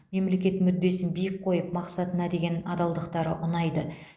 мемлекет мүддесін биік қойып мақсатына деген адалдықтары ұнайды